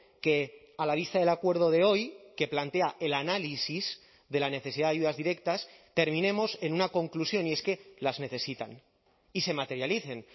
que a la vista del acuerdo de hoy que plantea el análisis de la necesidad de ayudas directas terminemos en una conclusión y es que las necesitan y se materialicen